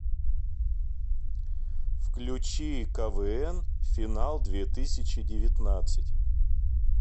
включи квн финал две тысячи девятнадцать